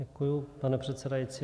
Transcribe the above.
Děkuji, pane předsedající.